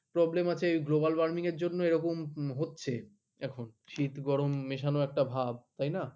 problem আছে এই global warming এর জন্য এরকম হচ্ছে এখন শীত গরম মেশানো একটা ভাব তাই না?